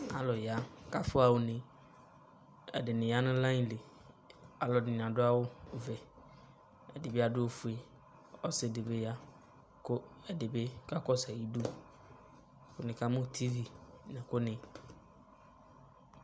Alu ya ka fɔha une Ɛde ya no layili Allde ne ado awuvɛ, ɛde be addo ofue Ɔse de be ya ko ɛde be ka kɔso ayidu, ko ne ka mo tivi nɛko ne